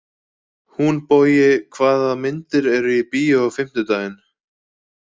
Húnbogi, hvaða myndir eru í bíó á fimmtudaginn?